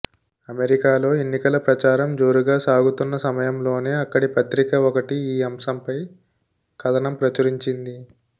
అమెరికాలో ఎన్నికల ప్రచారం జోరుగా సాగుతున్న సమయంలోనే అక్కడి పత్రిక ఒకటి ఈ అంశంపై కథనం ప్రచురించింది